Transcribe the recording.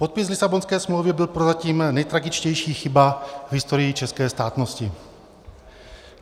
Podpis Lisabonské smlouvy byl prozatím nejtragičtější chybou v historii české státnosti.